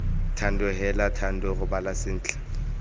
thando heela thando robala sentle